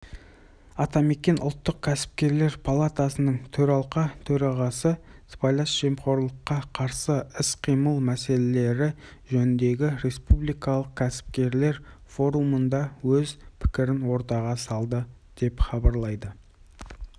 атамекен ұлттық кәсіпкерлер палатасының төралқа төрағасы сыбайлас жемқорлыққа қарсы іс-қимыл мәселелері жөніндегі республикалық кәсіпкерлер форумында өз пікірін ортаға салды деп хабарлайды